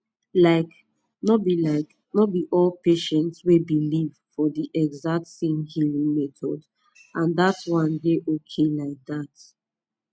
like no be like no be all patients wey believe for the exact same healing method and that one dey okay like that